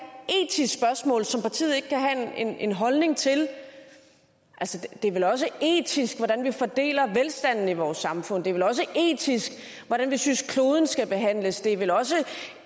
etisk spørgsmål som partiet ikke kan have en holdning til det er vel også etisk hvordan vi fordeler velstanden i vores samfund det er vel også etisk hvordan vi synes at kloden skal behandles det er vel også